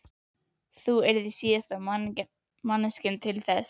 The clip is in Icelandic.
Þú yrðir síðasta manneskjan til þess.